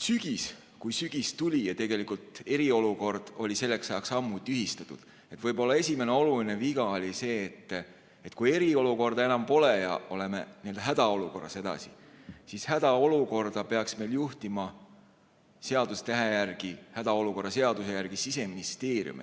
Kui sügis tuli ja eriolukord oli selleks ajaks ammu tühistatud, siis võib-olla esimene oluline viga oli see, et kui eriolukorda enam pole ja oleme hädaolukorras edasi, siis hädaolukorda peaks meil juhtima seadusetähe järgi, hädaolukorra seaduse järgi Siseministeerium.